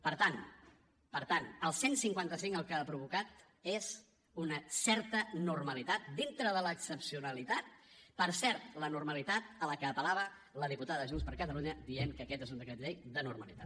per tant el cent i cinquanta cinc el que ha provocat és una certa normalitat dintre de l’excepcionalitat per cert la normalitat a la que apel·lava la diputada de junts per catalunya dient que aquest és un decret llei de normalitat